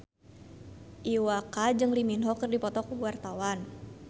Iwa K jeung Lee Min Ho keur dipoto ku wartawan